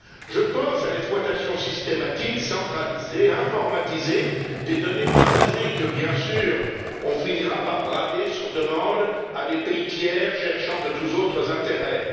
Je pense à l'exploitation systématique, centralisée, informatisée, des données passagers qu'on finira bien sûr par brader, sur demande, à des pays tiers cherchant de tous autres intérêts.